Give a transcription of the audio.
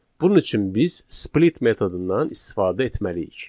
Bunun üçün biz split metodundan istifadə etməliyik.